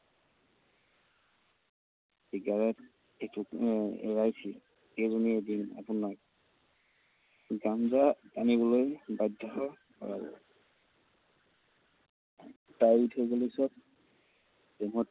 Cigarette আহ এৰাইছিল, সেইজনীয়েই এদিন আপোনাক গাঞ্জা টানিবলৈ বাধ্য কৰাব। তাই এৰি থৈ যোৱা পিছত প্ৰেমত